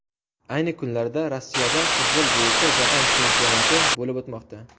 Ayni kunlarda Rossiyada futbol bo‘yicha Jahon Chempionati bo‘lib o‘tmoqda.